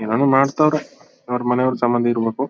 ಏನ್ ಏನೋ ಮಾಡತಾವ್ರೆ ಅವ್ರ್ ಮನೆಯವರ್ಗೆ ಸಂಬಂಧ ಇರ್ಬೇಕು.